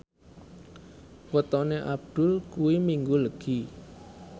wetone Abdul kuwi Minggu Legi